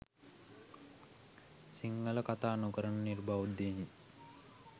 සිංහල කථා නොකරන නිර්බෞද්ධයින්